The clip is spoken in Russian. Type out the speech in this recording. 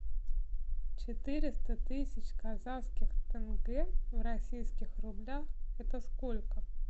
четыреста тысяч казахских тенге в российских рублях это сколько